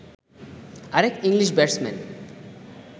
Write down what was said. আরেক English batsman